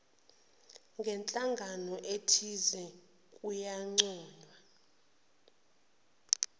ngenhlangano ethize kuyancoywa